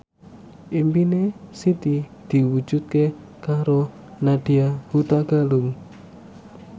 impine Siti diwujudke karo Nadya Hutagalung